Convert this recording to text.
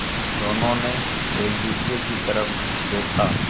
दोनों ने एक दूसरे की तरफ़ देखा